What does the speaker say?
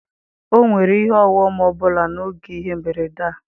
Ọ nwere ihe ọghọm ọ bụla n'oge ihe mberede a.